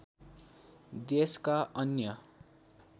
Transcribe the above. देशका अन्य